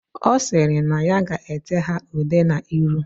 Osiri na ya ga ete ha ude na ilu.